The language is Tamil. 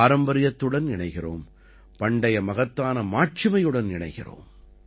பாரம்பரியத்துடன் இணைகிறோம் பண்டைய மகத்தான மாட்சிமையுடன் இணைகிறோம்